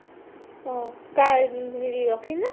অ, তাই ৰি ৰ'কিৰ নে ?